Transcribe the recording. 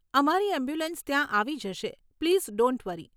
અમારી એમ્બ્યુલન્સ ત્યાં આવી જશે પ્લીઝ ડોન્ટ વરી.